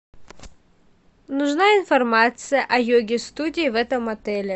нужна информация о йоге студии в этом отеле